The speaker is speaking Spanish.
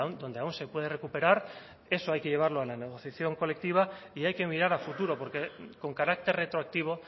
donde aún se puede recuperar eso hay que llevarlo a la negociación colectiva y hay que mirar a futuro porque con carácter retroactivo